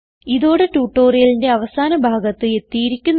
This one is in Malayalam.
ഇതോടെ ട്യൂട്ടോറിയലിന്റെ അവസാന ഭാഗത്ത് എത്തിയിരിക്കുന്നു